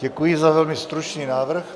Děkuji za velmi stručný návrh.